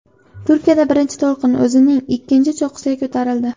Turkiyada birinchi to‘lqin o‘zining ikkinchi cho‘qqisiga ko‘tarildi.